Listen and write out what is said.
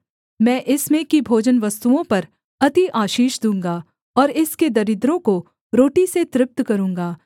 मैं इसमें की भोजनवस्तुओं पर अति आशीष दूँगा और इसके दरिद्रों को रोटी से तृप्त करूँगा